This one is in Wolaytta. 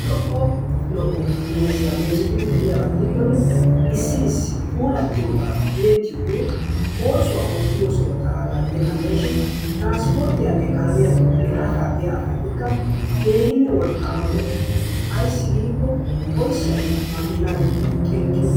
Lo''o lo''o meeziyaa meezetidi de'iyaba gidikkkonne issi issi puulattiyoba tiyyettiyogee oosuwa oottiyosaa xalaala gidishin transporttiyaanne kaamiyaa toggidi harasaa biya asaassikka keehinne wolqqama meto ayssi giiko oyssay makiina giddon xinqqiyo....